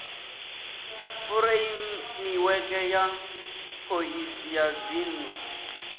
fureimiweke ya phoisi ya dzinnu